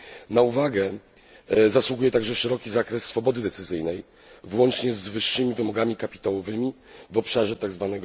Na uwagę zasługuje także szeroki zakres swobody decyzyjnej włącznie z wyższymi wymogami kapitałowymi w obszarze tzw.